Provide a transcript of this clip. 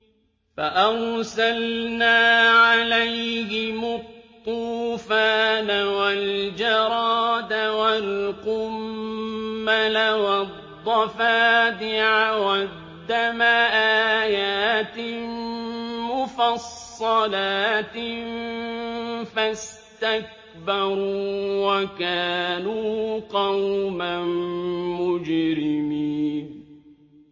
فَأَرْسَلْنَا عَلَيْهِمُ الطُّوفَانَ وَالْجَرَادَ وَالْقُمَّلَ وَالضَّفَادِعَ وَالدَّمَ آيَاتٍ مُّفَصَّلَاتٍ فَاسْتَكْبَرُوا وَكَانُوا قَوْمًا مُّجْرِمِينَ